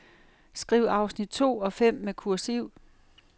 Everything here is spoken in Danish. Skriv afsnit to og fem med kursiv.